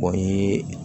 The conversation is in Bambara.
O ye